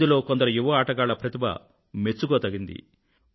ఇందులో కొందరు యువ ఆటగాళ్ళ ప్రతిభ మెచ్చుకోదగ్గది